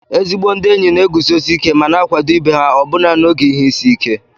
Ezi ndị enyi na-eguzosi ike ma na-akwado ibe ha ọbụna n'oge ihe isi ike